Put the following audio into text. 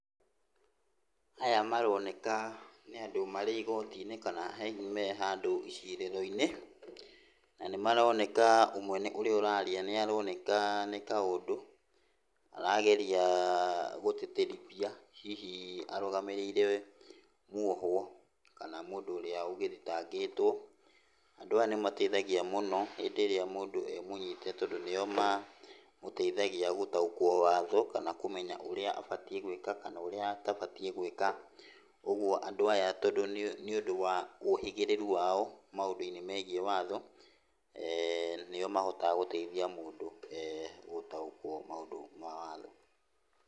Aya maroneka nĩ andũ marĩ igoti-inĩ kana hihi mehandũ icirĩro-inĩ, na nĩ maroneka, ũmwe ũrĩa ũraria nĩ aroneka nĩ ta ũndũ arageria gũteterithia, hihi arũgamĩrĩire mwohwo, kana mũndũ ũrĩa ũthitangĩtwo. Andũ aya nĩ mateithagia mũno hĩndĩ ĩrĩa mũndũ emũnyite. Tondũ nĩ mateithagia gũtaũkwo watho, kana kũmenya ũrĩa abatiĩ gũĩka kana ũrĩa atabatiĩ gũĩka. Koguo andũ aya nĩũndũ wa ũhĩgĩrĩru wao maũndũ-inĩ megiĩ watho, eh nĩo mahotaga gũteithia mũndũ gũtaũkwo maũndũ ma watho.